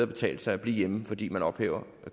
betale sig at blive hjemme fordi man ophæver